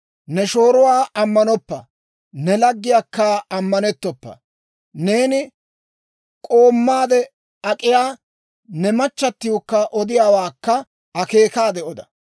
Ne shooruwaa ammanoppa; ne laggiyaakka ammanettoppa. Neeni k'oommaade ak'iyaa ne machchattiwukka odiyaawaakka akeekaade oda.